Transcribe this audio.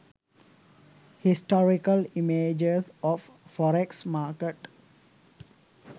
historical images of forex market